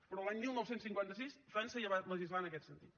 però l’any dinou cinquanta sis frança ja va legislar en aquest sentit